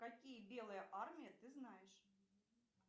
какие белые армии ты знаешь